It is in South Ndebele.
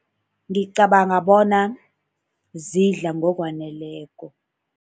Ngicabanga bona zidla ngokwaneleko.